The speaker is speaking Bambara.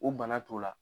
O bana t'o la